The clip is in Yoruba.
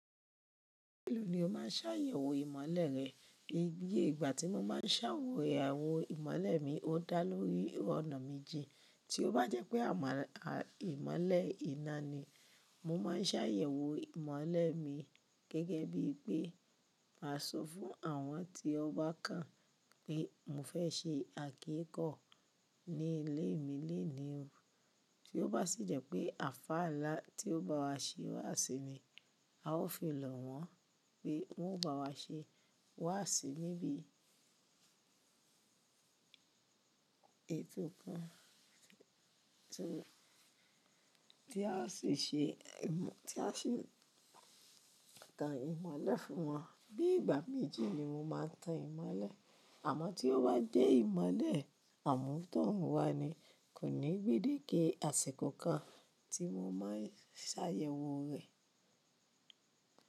Mélo ni o máa ń ṣàyẹ̀wò ìmọ̀le rẹ̀? Iye ìgbà tí mo ma ń ṣàyẹ̀wò ìmọ̀le mi, o dá lórí ọ̀nà méjì. Tí o bá jẹ́ pé ìmọ̀le iná ni, mo ma ń ṣàyẹ̀wò ìmọ̀le mi gẹ́gẹ́ bí pé ma sọ fún àwọn tí ọ bá kàn pé mo fẹ́ ṣe àkíkọ́ ní ilé mi lénìí o bí o bá sì jẹ́ pé àlfà ńlá tí o bá wa ṣe wàásì ni, a ó fi lọ̀ wọ́n pé wọ́n ó bá wa ṣe wàásì níbi ètò kan tí a sì tan ìmọ̀le fún wọn. Bí ìgbà méjì ni mo máa ń tan ìmọ̀le. Àmọ́ tí o bá jẹ́ ìmọ̀le àmútọ̀runwa ni, kò ní gbédèkẹ̀ àsìkò kan tí mo máa ń ṣàyẹ̀wò rẹ̀.